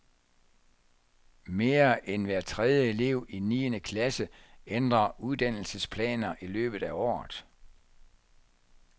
Mere end hver tredje elev i niende klasse ændrer uddannelsesplaner i løbet af året.